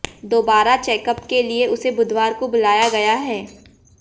दोबारा चैकअप के लिए उसे बुधवार को बुलाया गया है